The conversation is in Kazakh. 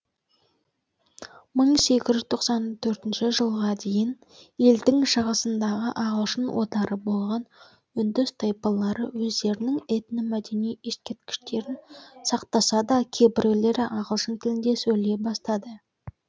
мың сегіз жүз тоқсан төртінші жылға дейін елдің шығысындағы ағылшын отары болған үндіс тайпалары өздерінің этномәдени ескерткіштерін сақтаса да кейбіреулері ағылшын тілінде сөйлей бастады